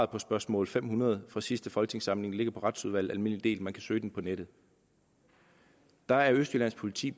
på spørgsmål fem hundrede fra sidste folketingssamling og på retsudvalget almindelig del man kan søge det på nettet der er østjyllands politi